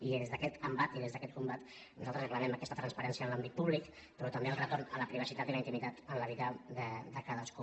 i des d’aquest embat i des d’aquest combat nosaltres reclamem aquesta transparència en l’àmbit públic però també el retorn a la privacitat i a la intimitat en la vida de cadascú